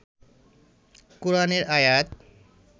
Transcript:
কোরআনের আয়াত